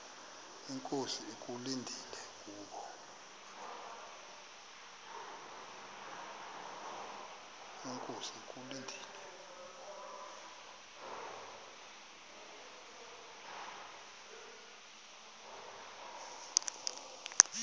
inkosi ekulindele kubo